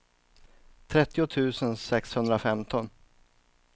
trettio tusen sexhundrafemton